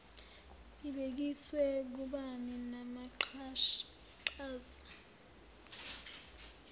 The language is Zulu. sibhekiswe kubani namaqhaza